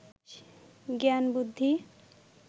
জ্ঞান বুদ্ধি